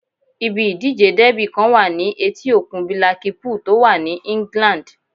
Ibi ìdíje dẹ́bì kan wà ní etí òkun bílákípùl tó wà ní England